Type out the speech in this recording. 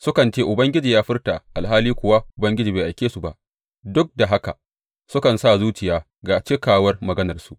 Sukan ce, Ubangiji ya furta, alhali kuwa Ubangiji bai aike su ba; duk da haka sukan sa zuciya ga cikawar maganarsu.